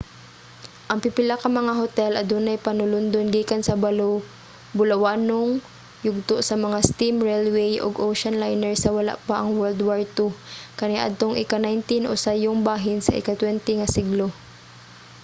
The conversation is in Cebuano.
ang pipila ka mga hotel adunay panulundon gikan sa bulawanong yugto sa mga steam railway ug ocean liner sa wala pa ang world war ii kaniadtong ika-19 o sayong bahin sa ika-20 nga siglo